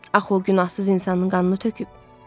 Axı o günahsız insanın qanını töküb.